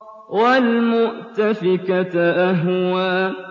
وَالْمُؤْتَفِكَةَ أَهْوَىٰ